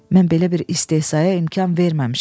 Mən belə bir istehzaya imkan verməmişəm.